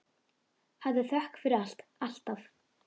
Hafðu þökk fyrir allt, alltaf.